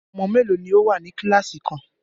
Ọmọ mélòó ní o wá ní kíláàsì kan?